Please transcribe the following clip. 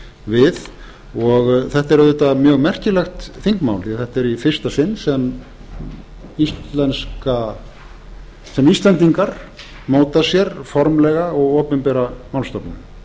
við og þetta er auðvitað mjög merkilegt þingmál því að þetta er í fyrsta sinn sem íslendingar móta sér formlega og opinbera málstefnu